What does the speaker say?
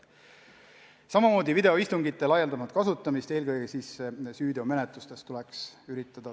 Samamoodi võiks üritada videoistungite laialdasemat kasutamist, eelkõige süüteomenetlustes.